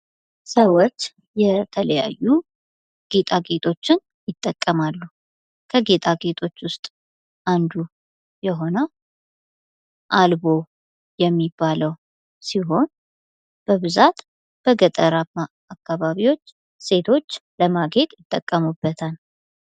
ሰዎች የተለያዩ ጌጣጌጦችን ይጠቀማሉ ። ከጌጣጌጦች ውስጥ አንዱ የሆነው አልቦ የሚባለው ሲሆን በብዛት በገጠራማ አካባቢዎች ሴቶች ለማጌጥ ይጠቀሙበታል ።